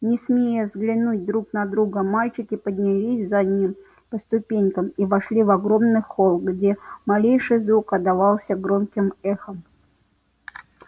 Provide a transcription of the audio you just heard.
не смея взглянуть друг на друга мальчики поднялись за ним по ступенькам и вошли в огромный холл где малейший звук отдавался громким эхом